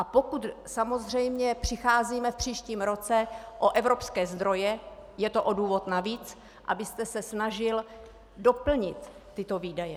A pokud samozřejmě přicházíme v příštím roce o evropské zdroje, je to o důvod navíc, abyste se snažil doplnit tyto výdaje.